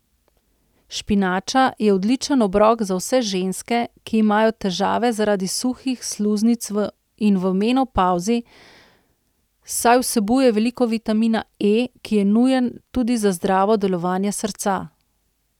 Špinača je odličen obrok za vse ženske, ki imajo težave zaradi suhih sluznic in v menopavzi, saj vsebuje veliko vitamina E, ki je nujen tudi za zdravo delovanje srca.